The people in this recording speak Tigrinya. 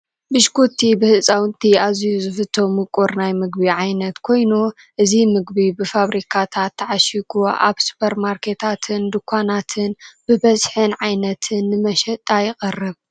ብሽኩቲ ብህፃውንቲ ኣዝዩ ዝፍቶ ምቁር ናይ ምግቢ ዓይነት ኮይኑ እዚ ምግቢ ብፋብሪካታት ተዓሽጊ ኣብ ሱፐር ማንርኬታትን ድንኳናትን ብበዝሕን ዓይነትን ንመሸጣ ይቐርብ፡፡